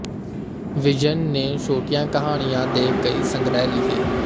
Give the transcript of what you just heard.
ਵਿਜਯਨ ਨੇ ਛੋਟੀਆਂ ਕਹਾਣੀਆਂ ਦੇ ਕਈ ਸੰਗ੍ਰਹਿ ਲਿਖੇ